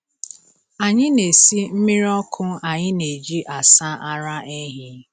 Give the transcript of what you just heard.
Anyị na-esi mmiri ọkụ anyị na-eji asa ara ehi.